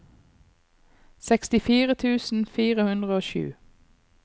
sekstifire tusen fire hundre og sju